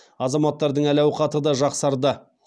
азаматтардың әл ауқаты да жақсарды